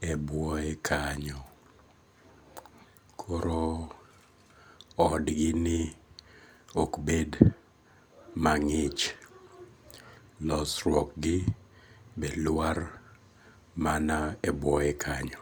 e bwoye kanyo koro odgini koro okbet mang'ich losruokgi be lwar mana e bwoye kanyo